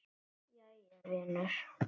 Jæja vinur.